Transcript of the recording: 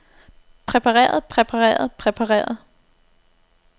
præpareret præpareret præpareret